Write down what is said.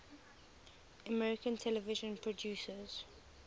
american television producers